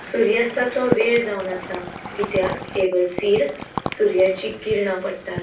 सूर्यास्ताचो वेळ जावन आसा. कित्याक ये बसिर सुर्याचि किर्णा पडटात.